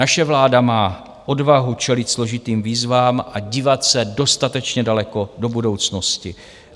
Naše vláda má odvahu čelit složitým výzvám a dívat se dostatečně daleko do budoucnosti.